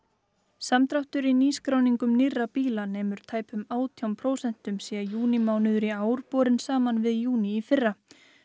samdráttur í nýskráningum nýrra bíla nemur tæpum átján prósentum sé júnímánuður í ár borinn saman við júní í fyrra